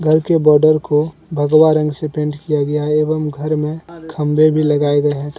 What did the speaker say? घर के बोर्डर को भगवा रंग से पेंट किया गया है एवं घर में थंबे भी लगाए गए हैं।